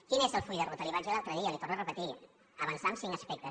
quin és el full de ruta li ho vaig dir l’altre dia li ho torno a repetir avançar en cinc aspectes